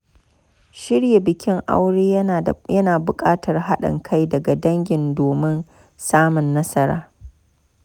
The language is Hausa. Shirya bikin aure ya na buƙatar haɗin kai daga dangi domin samun nasara.